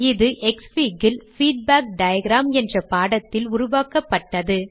இது க்ஸ்ஃபிக் ல் feedback diagram என்ற பாடத்தில் உருவாக்கப்பட்டது